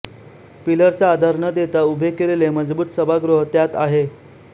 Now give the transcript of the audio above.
पिलरचा आधार न देता उभे केलेले मजबूत सभागृह त्यात आहेत